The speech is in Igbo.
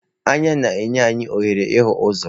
Anya na-enye anyị ohere ịhụ ụzọ.